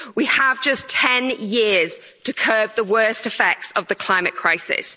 We have just 10 years to curb the worst effects of the climate crisis.